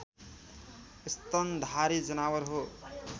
स्तनधारी जनावर हो